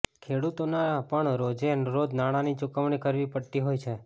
ખેડૂતોને પણ રોજે રોજ નાણાંની ચૂકવણી કરવી પડતી હોય છે